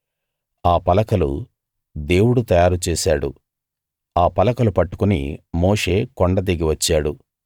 ఆ పలకలు దేవుడు తయారు చేశాడు ఆ పలకలు పట్టుకుని మోషే కొండ దిగి వచ్చాడు